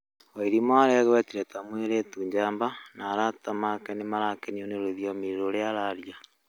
Waĩrimu aregwetĩre ta mũĩretũ njamba na arata ake nĩmarakenĩo nĩ rũthĩomi rũrĩa ararĩa